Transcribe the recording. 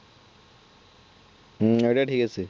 হম ওইটা ঠিক আছে